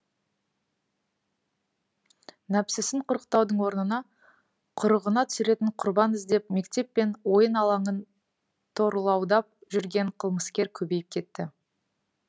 нәпсісін құрықтаудың орнына құрығына түсіретін құрбан іздеп мектеп пен ойын алаңын торуылдап жүрген қылмыскер көбейіп кетті